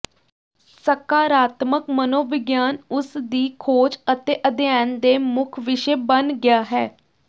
ਸਕਾਰਾਤਮਕ ਮਨੋਵਿਗਿਆਨ ਉਸ ਦੀ ਖੋਜ ਅਤੇ ਅਧਿਐਨ ਦੇ ਮੁੱਖ ਵਿਸ਼ੇ ਬਣ ਗਿਆ ਹੈ